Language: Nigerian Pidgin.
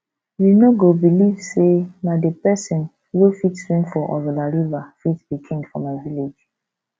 you no go believe say na the person wey fit swim for ozalla river fit be king for my village